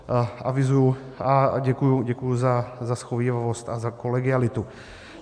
Avizuji a děkuji za shovívavost a za kolegialitu.